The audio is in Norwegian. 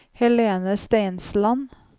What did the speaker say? Helene Steinsland